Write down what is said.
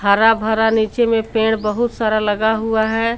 हर भरा नीचे में पेड़ बहुत लगा हुआ है।